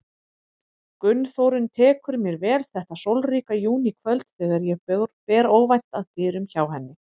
Gunnþórunn tekur mér vel þetta sólríka júníkvöld þegar ég ber óvænt að dyrum hjá henni.